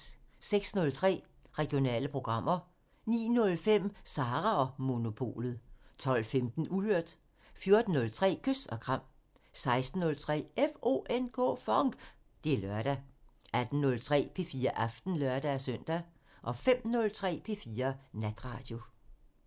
06:03: Regionale programmer 09:05: Sara & Monopolet 12:15: Uhørt 14:03: Kys og kram 16:03: FONK! Det er lørdag 18:03: P4 Aften (lør-søn) 05:03: P4 Natradio